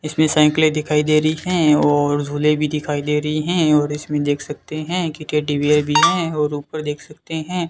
इसमें साइकिलें दिखाई दे रही हैं और झूले भी दिखाई दे रही हैं और इसमें देख सकते हैं कि टेडी बियर भी हैं और ऊपर देख सकते हैं।